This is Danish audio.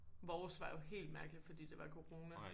Vores var jo helt mærkelig fordi det var corona